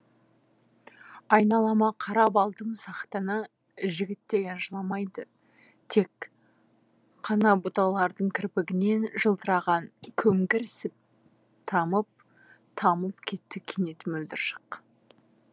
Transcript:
айналама қарап алдым сақтана жігіт деген жыламайды тек қанабұталардың кірпігінен жылтыраған көлгірсіптамып тамып кетті кенет мөлдір шық